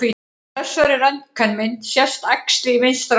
Á þessari röntgenmynd sést æxli í vinstra lunga.